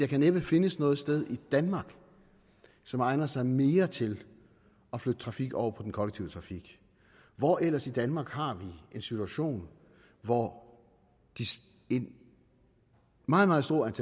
kan næppe findes noget sted i danmark som egner sig mere til at flytte trafik over i den kollektive trafik hvor ellers i danmark har vi en situation hvor et meget meget stort